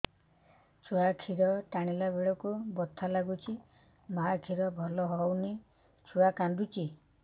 ଛୁଆ ଖିର ଟାଣିଲା ବେଳକୁ ବଥା ଲାଗୁଚି ମା ଖିର ଭଲ ହଉନି ଛୁଆ କାନ୍ଦୁଚି